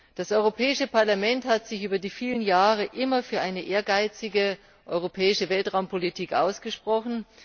Das Europäische Parlament hat sich über die vielen Jahre immer für eine ehrgeizige europäische Weltraumpolitik ausgesprochen.